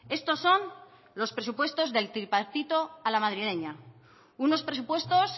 estos son los presupuestos del tripartito a la madrileña unos presupuestos